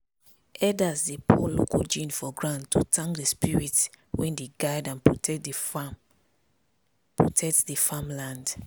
elders dey pour local gin for ground to thank the spirits wey dey guide and protect the farm protect the farm land.